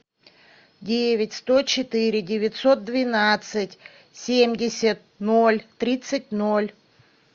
девять сто четыре девятьсот двенадцать семьдесят ноль тридцать ноль